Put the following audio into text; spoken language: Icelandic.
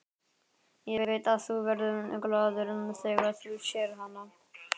Ég veit að þú verður glaður þegar þú sérð hana.